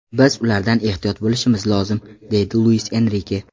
Biz ulardan ehtiyot bo‘lishimiz lozim”, – deydi Luis Enrike.